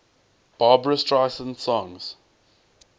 barbra streisand songs